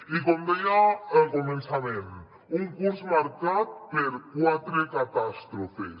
i com deia al començament un curs marcat per quatre catàstrofes